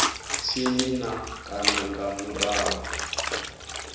tsini na kana nga murahu